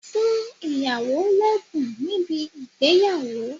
Fún ìyàwó lẹ́bùn níbi ìgbéyàwó!